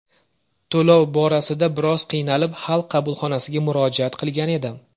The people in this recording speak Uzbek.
To‘lov borasida biroz qiynalib, xalq qabulxonasiga murojaat qilgan edim.